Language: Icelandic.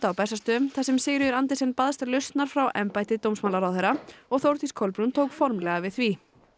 á Bessastöðum þar sem Sigríður Andersen baðst lausnar frá embætti dómsmálaráðherra og Þórdís Kolbrún tók formlega við því